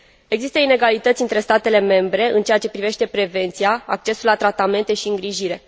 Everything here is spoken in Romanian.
Există inegalități între statele membre în ceea ce privește prevenția, accesul la tratamente și îngrijire.